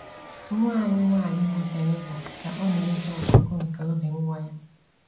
Nwa anyị nwanyị bụ́ Theresa, ka ọ na - ege ọkụkụ nke obi nwa ya